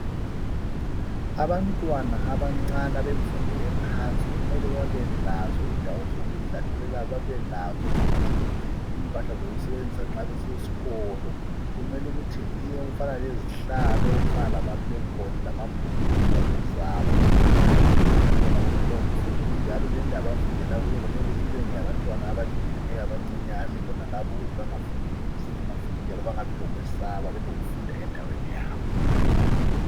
abantwana abancane abemfundo ephansi kumele babelazo indawo zokudlalela babelazo futhi impahla zokusebenzisa ma besesikolo kumele ukuthi okufana lezihlalo okufana lama plain books ingwalo zabo kumele kubekhona konke lokhu fuhi njalo lendlu abafundela kuyo kumele ibe ngeyabantwana abalingeneyo abancinyane bonalabo ukuze bengafundi nzima futhi njalo bengabi lokwesaba ukufunda endaweni yabo